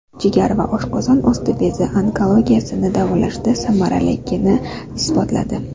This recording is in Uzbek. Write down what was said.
Jigar va oshqozon osti bezi onkologiyasini davolashda samaraliligini isbotladi.